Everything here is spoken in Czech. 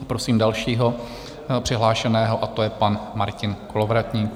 A prosím dalšího přihlášeného a to je pan Martin Kolovratník.